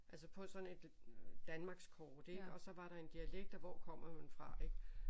Altså på sådan et Danmarkskort ik og så var der en dialekt og hvor kommer man fra